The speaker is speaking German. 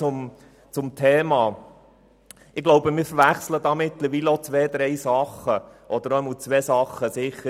Zum Thema: Wir verwechseln mindestens zwei Dinge: